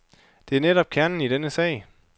Det er netop kernen i den sag.